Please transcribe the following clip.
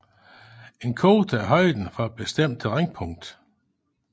En kote er højden for et bestemt terrænpunkt